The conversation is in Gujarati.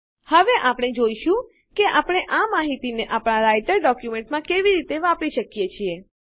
હવે આપણે જોઈશું કે આપણે આ માહિતીને આપણા રાઈટર ડોક્યુંમેંટમાં કેવી રીતે વાપરી શકીએ છીએ